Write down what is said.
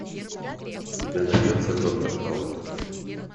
у тебя найдется доктор хаус